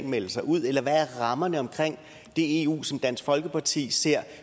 melde sig ud eller hvad er rammerne omkring det eu som dansk folkeparti ser